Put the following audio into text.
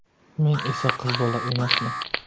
Men esa qiz bola emasman.